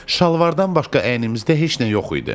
Şalvardan başqa əynimizdə heç nə yox idi.